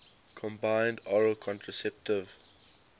combined oral contraceptive